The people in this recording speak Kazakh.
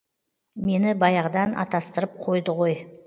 мені баяғыдан атастырып қойды ғой